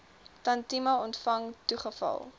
tantième ontvang toegeval